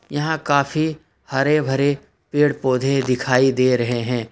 यहां काफी हरे भरे पेड़ पौधे दिखाई दे रहे हैं।